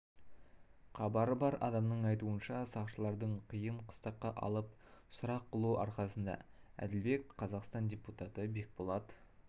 қабары бар адамның айтуынша сақшылардың қыйын қыстаққа алып сұрақ қылу арқасында әділбек қазақстан депутаты бекболат